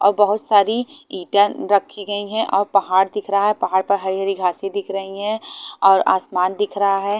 और बहुत सारी इटन रखी गयी हैं और पहाड़ दिख रहा हैं पहाड़ पर हरी हरी घासे दिख रही हैं और आसमान दिख रहा हैं।